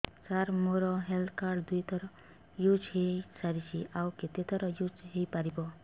ସାର ମୋ health card ଦୁଇ ଥର ୟୁଜ଼ ହୈ ସାରିଛି ଆଉ କେତେ ଥର ୟୁଜ଼ ହୈ ପାରିବ